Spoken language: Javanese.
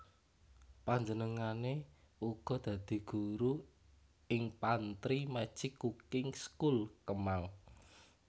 Panjenengane uga dadi guru ing Pantry Magic Cooking School Kemang